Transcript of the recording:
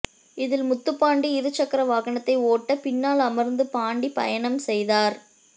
இதில் முத்துப்பாண்டி இருசக்கர வாகனத்தை ஓட்ட பின்னால் அமா்ந்து பாண்டி பயணம் செய்தாா்